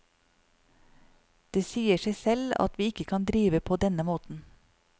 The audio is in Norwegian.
Det sier seg selv at vi ikke kan drive på denne måten.